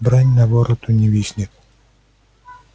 брань на вороту не виснет